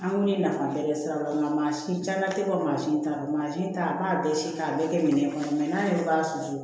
An kun ye nafa bɛɛ kɛ sira wɛrɛ la maasin caman tɛ bɔ mansin ta la mansin ta a b'a bɛɛ si k'a bɛɛ kɛ minɛn kɔnɔ mɛ n'a b'a susu